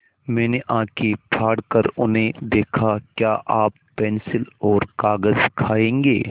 मैंने आँखें फाड़ कर उन्हें देखा क्या आप पेन्सिल और कागज़ खाएँगे